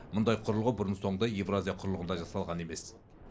мұндай құрылғы бұрын соңды еуразия құрлығында жасалған емес